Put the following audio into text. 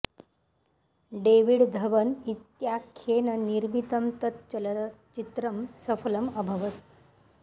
David Dhawan इत्याख्येन निर्मितं तत् चलच्चित्रं सफलम् अभवत्